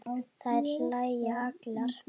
Þær hlæja allar.